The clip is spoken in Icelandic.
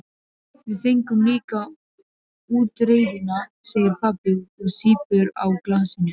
Við fengum líka útreiðina, segir pabbi og sýpur á glasinu.